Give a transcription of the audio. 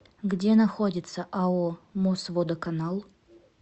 где находится ао мосводоканал